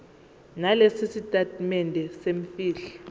nalesi sitatimende semfihlo